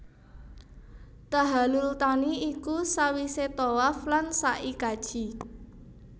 Tahallul thani iku sawisé tawaf lan sa i kaji